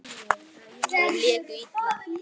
Þeir léku illa.